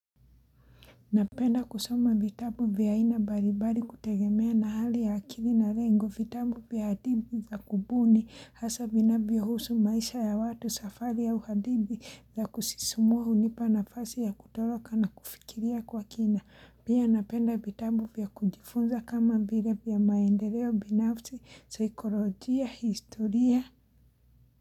Napenda kusoma vitabu vya aina baribari kutegemea na hali ya akiri na rengo vitabu vya hadithi za kubuni hasa vinavyo husu maisha ya watu safari ya hadithi za kusisumua unipa na fasi ya kutoloka na kufikiria kwa kina. Pia napenda vitabu vya kujifunza kama vya vya maendeleo binafsi, saikolojia, historia.